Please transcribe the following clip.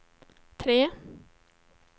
tre